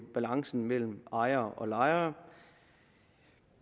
balancen mellem ejere og lejere